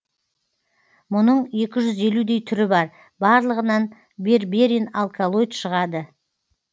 мұның екі жүз елудей түрі бар барлығынан берберин алкалоид шығады